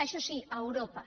això sí a europa